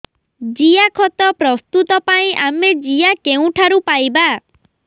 ଜିଆଖତ ପ୍ରସ୍ତୁତ ପାଇଁ ଆମେ ଜିଆ କେଉଁଠାରୁ ପାଈବା